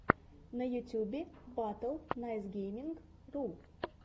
на ютубе батл найсгейминг ру